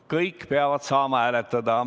Kõik peavad saama hääletada.